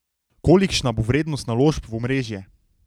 Kolikšna bo vrednost naložb v omrežje?